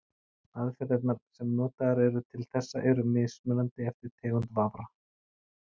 Aðferðirnar sem notaðar eru til þessa eru mismunandi eftir tegund vafra.